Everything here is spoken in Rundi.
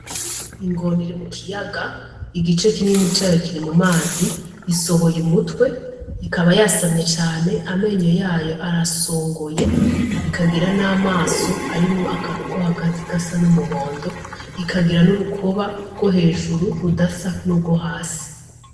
Ingona iri mu kiyaga igice kinini cayo kiri mu kiyaga isohoye umutwe ikaba yasamye cane amenyo yayo arasongoye ikagira namaso arimwo akantu ko hagati gasa n'umuhondo ikagira n'urukoba gwo hejuru rudasa nugwo hasi